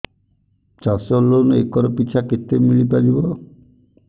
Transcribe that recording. ଚାଷ loan acre ପିଛା କେତେ ମିଳି ପାରିବ